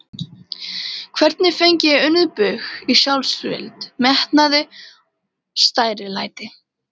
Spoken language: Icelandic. Hvernig fengi ég unnið bug á sjálfsvild, metnaði, stærilæti?